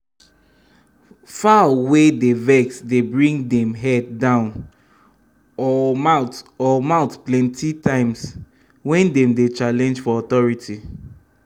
fowl wey dey vex dey bring dem head down o mouth o mouth plenty times wen dem dey challenge for authority